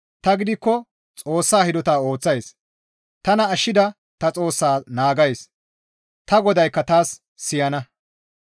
Tani gidikko Xoossa hidota ooththays; tana ashshida ta Xoossaa naagays; ta GODAYKKA taas siyana.